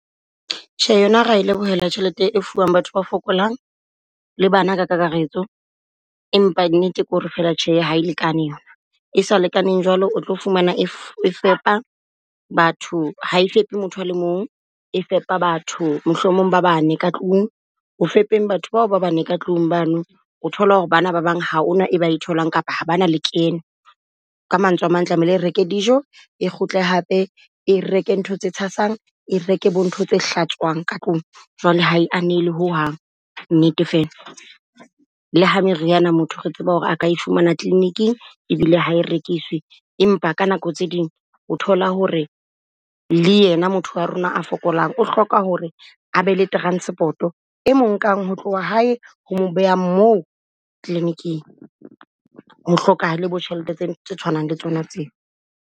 Tjhe, yona re lebohela tjhelete e fuwang batho ba fokolang le bana ka kakaretso, empa nnete ko re fela tjhe ha e lekane yona. E sa lekaneng jwalo o tlo fumana e e fepa batho ha e fepe motho a le mong, e fepa batho mohlomong ba bane ka tlung. Ho fepeng batho bao ba bane ka tlung bano, o thola ho re ba na ba bang ha o na e ba e tholang kapa ha ba na le kene. Ka mantswe a mang tlamehile re reke dijo e kgutle hape, e reke ntho tse tshasang, e reke bo ntho tse hlatswang ka tlung. Jwale ha e anele ho hang nnete fela le ha meriana motho re tseba ho re a ka e fumana clinic-ing ebile ha e rekiswi. Empa ka nako tse ding o thola ho re le yena motho wa rona a fokolang, o hloka ho re a be le transport-o e mong nkang ho tloha hae ho beha moo clinic-ing. Ho hlokahale bo tjhelete tse, tse tshwanang le tsona tseo.